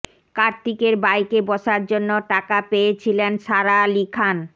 কার্তিকের বাইকে বসার জন্য টাকা পেয়েছিলেন সারা আলি খান